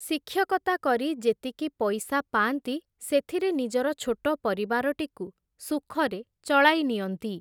ଶିକ୍ଷକତା କରି ଯେତିକି ପଇସା ପାଆନ୍ତି, ସେଥିରେ ନିଜର ଛୋଟ ପରିବାରଟିକୁ, ସୁଖରେ ଚଳାଇ ନିଅନ୍ତି ।